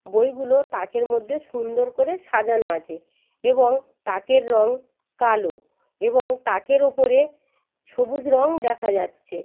বইগুলো তাকের মধ্যে সুন্দর করে সাজানো আছে এবং তাকের রং কালো এবং তাকের উপরে সবুজ রং দেখা যাচ্ছে।